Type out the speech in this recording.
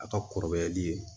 A ka kɔrɔbayali